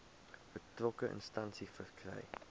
betrokke instansie verkry